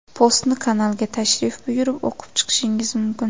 Postni kanalga tashrif buyurib o‘qib chiqishingiz mumkin.